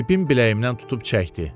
Bibim biləyimdən tutub çəkdi.